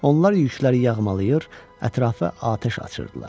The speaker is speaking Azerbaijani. Onlar yükləri yağmalayır, ətrafa atəş açırdılar.